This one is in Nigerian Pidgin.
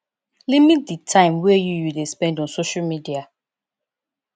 limit di time wey you you dey spend on social media